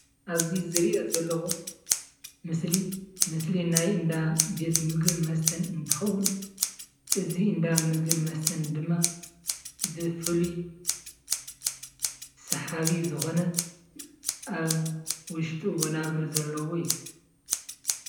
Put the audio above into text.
ኣብዚ ዝሪኦ ዘለኩ ምስሊ ምስሊ ናይ እንዳ ቤት ምግብን መስተን እንትኸውን እዚ እንዳ ምግብን መስተን ድማ ብፍሉይ ሰሓቢ ዝኮነ አብ ውሽጡ ወናብር ዘለዎ እዩ።